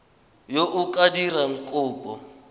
yo o ka dirang kopo